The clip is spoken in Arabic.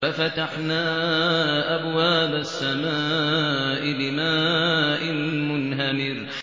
فَفَتَحْنَا أَبْوَابَ السَّمَاءِ بِمَاءٍ مُّنْهَمِرٍ